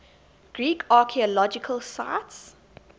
greek archaeological sites